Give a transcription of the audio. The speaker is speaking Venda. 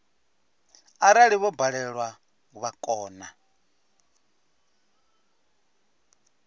arali vho balelwa vha kona